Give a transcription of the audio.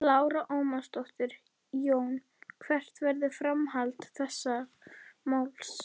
Lára Ómarsdóttir: Jón hvert verður framhald þessa máls?